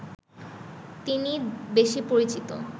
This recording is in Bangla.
তিনি বেশি পরিচিত